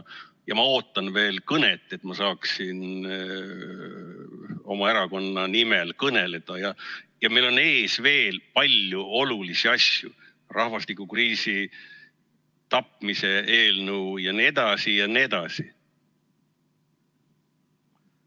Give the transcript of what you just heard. Ma ootan veel kõnet, et ma saaksin oma erakonna nimel kõneleda, ja meil on ees veel palju olulisi asju: rahvastikukriisi tapmise eelnõu jne, jne.